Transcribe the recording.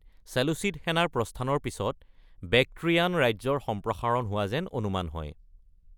চেলুচিড সেনাৰ প্ৰস্থানৰ পিছত বেক্ট্ৰিয়ান ৰাজ্যৰ সম্প্ৰসাৰণ হোৱা যেন অনুমান হয়।